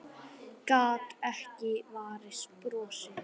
Gat ekki varist brosi.